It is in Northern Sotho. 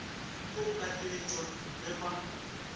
ke go kadietšwa ge ba